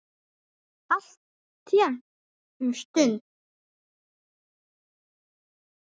Alltént um stund.